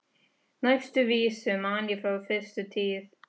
Næstu vísu man ég frá fyrstu tíð.